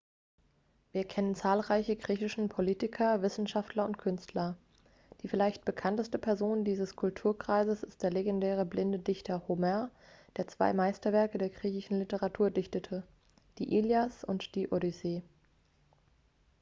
wir kennen zahlreiche griechischen politiker wissenschaftler und künstler die vielleicht bekannteste person dieses kulturkreises ist der legendäre blinde dichter homer der zwei meisterwerke der griechischen literatur dichtete die ilias und die odyssee